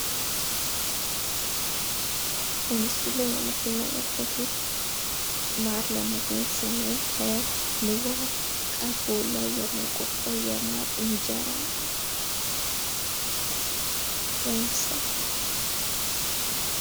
በምስሉ ላይ የምትመለከቱት ማር ለማገኘት ስንል ከንባ ቀፎ ላይ የምንቆርጠው የማር እንጀራ ነው። ወይም ሰም